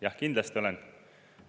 Jah, kindlasti olen.